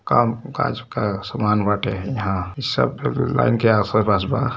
काम काज का सामान बाते यहाँ सब लाइन के आसे पास बा --